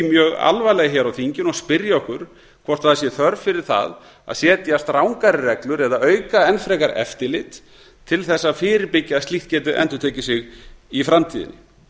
mjög alvarlega hér á þinginu og spyrja okkur hvort það sé þörf fyrir það að setja strangari reglur eða auka enn frekar eftirlit til þess að fyrirbyggja að slíkt geti endurtekið sig í framtíðinni